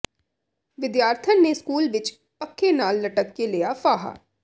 ਵਿਦਿਆਰਥਣ ਨੇ ਸਕੂਲ ਵਿੱਚ ਪੱਖੇ ਨਾਲ ਲਟਕ ਕੇ ਲਿਆ ਫਾਹਾ